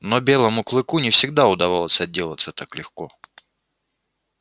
но белому клыку не всегда удавалось отделаться так легко